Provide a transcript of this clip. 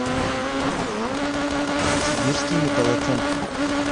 сибирский металлоцентр